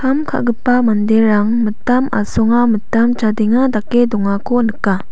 kam ka·gipa manderang mitam asonga mitam chadenga dake dongako nika.